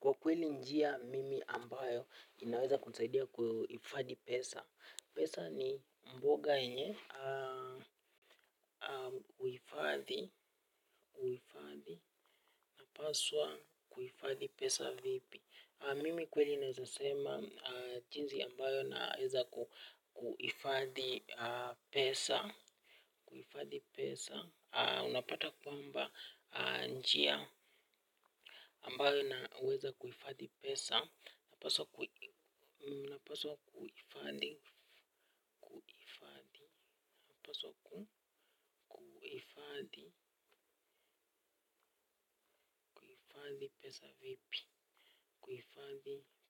Kwa kweli njia mimi ambayo inaweza kusaidia kuifadhi pesa. Pesa ni mboga yenye kuhifadhi. Napaswa kuifadhi pesa vipi. Mimi kweli naweza sema jinzi ambayo naweza kuifadhi pesa. Unapata kwamba njia ambayo inaweza kuifadhi pesa napaswa kuifadhi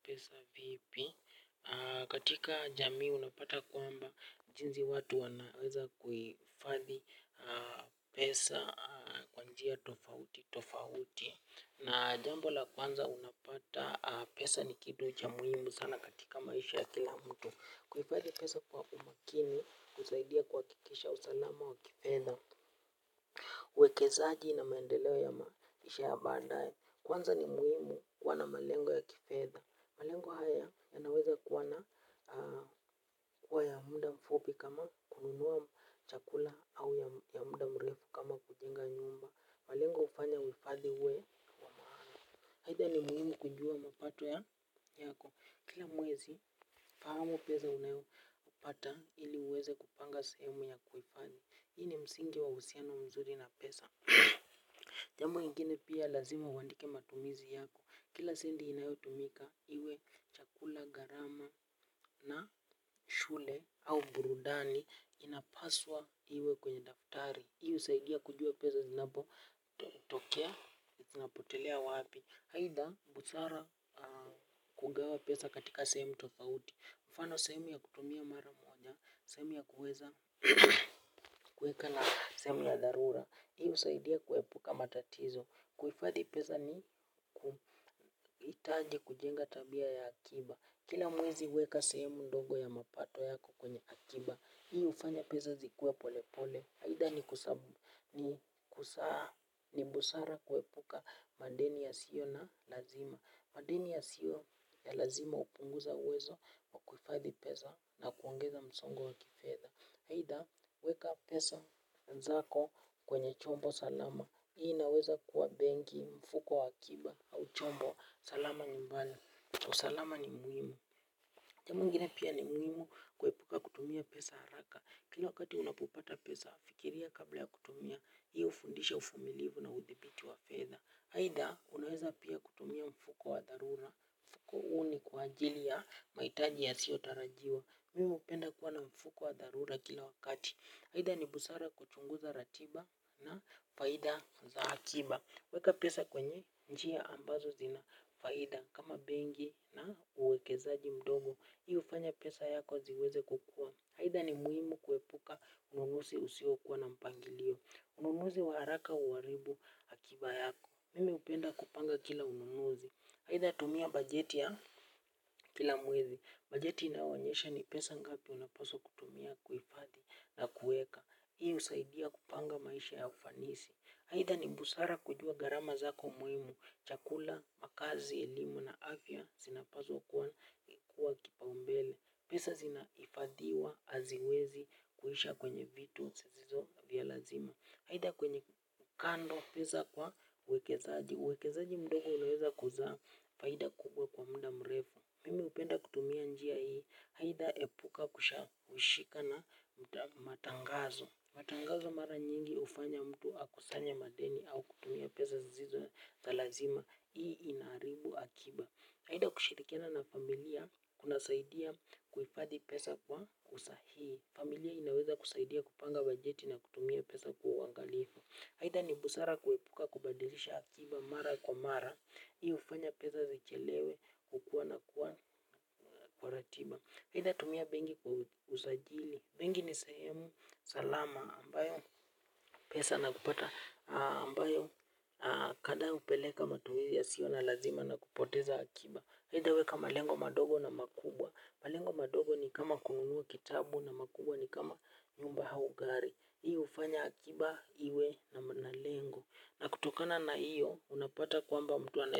pesa vipi. Katika jamii unapata kwamba jinzi watu wanaweza kuifadhi pesa kwa njia tofautitofauti. Na jambo la kwanza unapata pesa ni kitu cha muimu sana katika maisha ya kila mtu. Kuifadhi pesa kwa umakini husaidia kuhakikisha usalama wa kifedha uekezaji na maendeleo ya maisha ya bandaye. Kwanza ni muhimu kuwa na malengo ya kifedha. Malengo haya yanaweza kuwa na huwa ya muda mfupi kama kununua chakula au ya muda mrefu kama kujenga nyumba malengo hufanya uhifadhi uwe wa maana aidha ni muhimu ujue mapato yako kila mwezi fahamu pesa uanayopata ili uweze kupanga sehemu ya kuhifadhi hii ni msingi wa uhusiano mzuri na pesa. Jambo ingine pia lazima uandike matumizi yako. Kila sendi inayotumika iwe chakula, garama na shule au burudani inapaswa iwe kwenye daftari. Hiu husaidia kujua peza zinapotokea, zinapotelea wapi. Aidha, busara kugawa pesa katika sehemu tofauti. Mfano sehemu ya kutumia mara moja, sehemu ya kuweza kuweka na sehemu ya dharura, hii husaidia kuepuka matatizo, kuhifadhi pesa ni kuhitaji kujenga tabia ya akiba, kila mwezi huweka sehemu ndogo ya mapato yako kwenye akiba, hii hufanya peza zikue polepole, aidha ni kusabu ni kusaa ni busara kuepuka madeni yasio na lazima, madeni yasio ya lazima hupunguza uwezo wa kuhifadhi peza. Na kuongeza msongo wa kifedha. Aidha, weka pesa zako kwenye chombo salama. Hii inaweza kuwa benki mfuko wa akiba au chombo salama ni mbala. Usalama ni muhimu. Jambo ingine pia ni muhimu kuepuka kutumia pesa haraka. Kila wakati unapopata pesa, fikiria kabla ya kutumia. Hii hufundisha ufumilivu na udhibiti wa feza. Aidha, unaweza pia kutumia mfuko wa dharura. Ku huu ni kwa ajili ya maitaji yasiyotarajiwa. Mim hupenda kuwa na mfuko wa dharura kila wakati. Aidha ni busara kuchunguza ratiba na faida za akiba. Weka pesa kwenye njia ambazo zina faida kama bengi na uwekezaji mdogo. Hii hufanya pesa yako ziweze kukua. Aidha ni muhimu kuepuka ununusi usiokuwa na mpangilio. Ununuzi wa haraka huharibu akiba yako. Mimu upenda kupanga kila ununusi. Aidha tumia bajeti ya kila mwezi. Bajeti inayoonyesha ni pesa ngapi unapaswa kutumia kuhifadhi na kuweka. Hii husaidia kupanga maisha ya ufanisi aidha ni busara kujua garama zako muhimu. Chakula, makazi, elimu na afya sinapazwa kuwa kipaumbele. Pesa zinahifadhiwa, haziwezi, kuisha kwenye vitu, zisizo vya lazima aidha kwenye kando, pesa kwa uwekezaji uwekezaji mdogo unaweza kuzaa, faida kubwa kwa muda mrefu. Mimi hupenda kutumia njia hii. Aidha epuka kushaeishika na matangazo. Matangazo mara nyingi hufanya mtu akusanye madeni au kutumia pesa zisizo za lazima. Hii inaharibu akiba. Haida kushirikiana na familia kunasaidia kuhifadhi pesa kwa usahihi. Familia inaweza kusaidia kupanga bajeti na kutumia pesa kwa uangalifu. Aidha ni busara kuepuka kubadilisha akiba mara kwa mara. Hii hufanya pesa zichelewe kwa ratiba. Aidha tumia bengi kwa usajili, bengi ni srhemu salama ambayo pesa na kupata, ambayo kada upeleka matumizi yasio na lazima na kupoteza akiba. Aidha weka malengo madogo na makubwa. Malengo madogo ni kama kununua kitabu na makubwa ni kama nyumba hau gari. Hii hufanya akiba iwe na lengo na kutokana na hiyo unapata kwamba mtu anaweza.